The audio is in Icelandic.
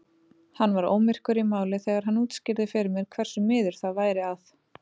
Hann var ómyrkur í máli þegar hann útskýrði fyrir mér hversu miður það væri að